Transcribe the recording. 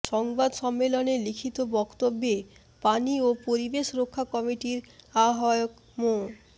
সংবাদ সম্মেলনে লিখিত বক্তব্যে পানি ও পরিবেশ রক্ষা কমিটির আহ্বায়ক মো